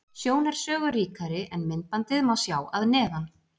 Sjón er sögu ríkari, en myndbandið má sjá að neðan.